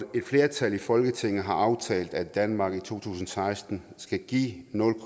et flertal i folketinget har aftalt at danmark i to tusind og seksten skal give nul